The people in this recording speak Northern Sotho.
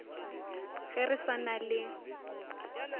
ge re sa na le